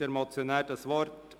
Wünscht der Motionär das Wort?